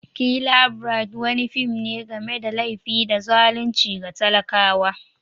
"Killer bride" wani fim ne game da laifi da zalunci ga talakawa.